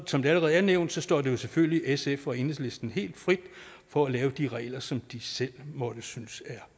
som det allerede er nævnt står det selvfølgelig sf og enhedslisten helt frit for at lave de regler som de selv synes er